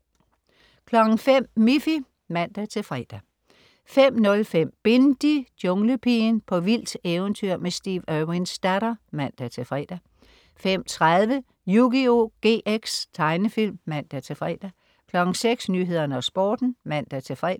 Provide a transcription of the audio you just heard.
05.00 Miffy (man-fre) 05.05 Bindi: Junglepigen. På vildt eventyr med Steve Irwins datter (man-fre) 05.30 Yugioh GX. Tegnefilm (man-fre) 06.00 Nyhederne og Sporten (man-fre)